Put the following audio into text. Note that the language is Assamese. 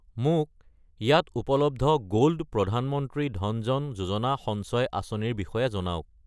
মোক ইয়াত উপলব্ধ গ'ল্ড প্ৰধান মন্ত্ৰী ধন জন যোজনা সঞ্চয় আঁচনি ৰ বিষয়ে জনাওক!